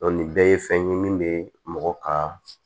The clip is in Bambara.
nin bɛɛ ye fɛn ye min bɛ mɔgɔ ka